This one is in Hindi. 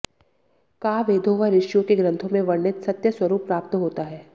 का वेदों व ऋषियों के ग्रन्थों में वर्णित सत्यस्वरूप प्राप्त होता है